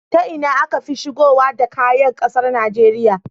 Ta Ina akafi shigowa da kaya ƙasar Nigeria